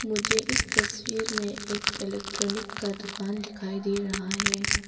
मुझे इस तस्वीर में एक इलेक्ट्रॉनिक का दुकान दिखाई दे रहा है।